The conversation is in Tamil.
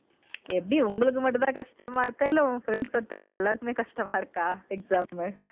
எப்படி உங்களுக்கு மட்டும் தான் கஷ்டமா இருக்கா இல்ல உன் friend circle ல எல்லாருக்குமே கஷ்டமா இருக்கா exam